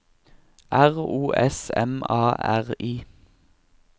R O S M A R I